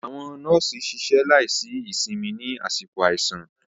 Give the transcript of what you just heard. Àwọn nọ́ọ̀sì ṣiṣẹ́ láìsí ìsinmi ní àsìkò àìsàn.